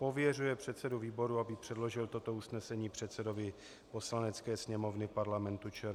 Pověřuje předsedu výboru, aby předložil toto usnesení předsedovi Poslanecké sněmovny Parlamentu ČR.